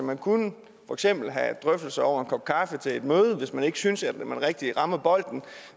man kunne for eksempel have drøftelser over en kop kaffe til et møde hvis man ikke synes at man rigtig rammer bolden